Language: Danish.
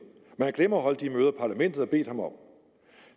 men glemmer at holde de møder parlamentet har bedt ham om